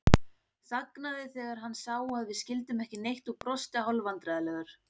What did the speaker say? Þagnaði þegar hann sá að við skildum ekki neitt og brosti hálfvandræðalegur.